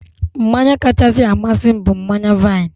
Mmanya kachasị amasị m bụ mmanya vaịn.